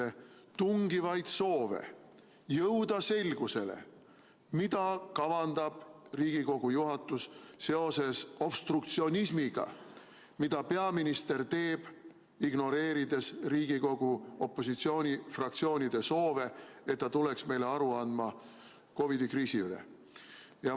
– tungivaid soove jõuda selgusele, mida kavandab Riigikogu juhatus seoses obstruktsionismiga, mida peaminister teeb, ignoreerides Riigikogu opositsioonifraktsioonide soove, et ta tuleks meile aru andma COVID-i kriisist.